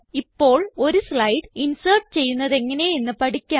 ഇപ്പോൾ ഒരു slide insert ചെയ്യുന്നതെങ്ങനെ എന്ന് പഠിക്കാം